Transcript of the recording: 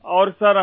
Modi جی